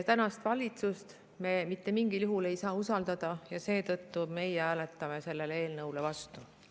Tänast valitsust me mitte mingil juhul ei saa usaldada ja seetõttu meie hääletame selle eelnõu vastu.